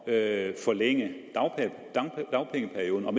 at forlænge dagpengeperioden om